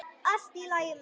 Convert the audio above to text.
Allt í lagi með hann.